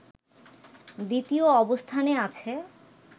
দ্বিতীয় অবস্থানে আছে